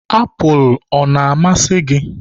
apụl ọ na-amasị gị?